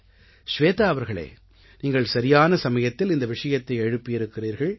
ஷ்வேதா அவர்களே நீங்கள் சரியான சமயத்தில் இந்த விஷயத்தை எழுப்பி இருக்கிறீர்கள்